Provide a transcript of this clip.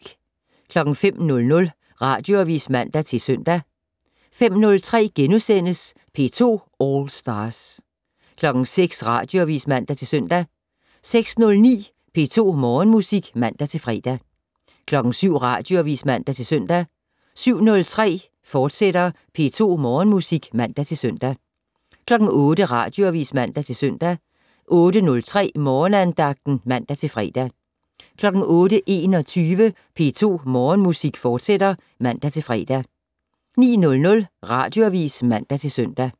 05:00: Radioavis (man-søn) 05:03: P2 All Stars * 06:00: Radioavis (man-søn) 06:09: P2 Morgenmusik (man-fre) 07:00: Radioavis (man-søn) 07:03: P2 Morgenmusik, fortsat (man-søn) 08:00: Radioavis (man-søn) 08:03: Morgenandagten (man-fre) 08:21: P2 Morgenmusik, fortsat (man-fre) 09:00: Radioavis (man-søn)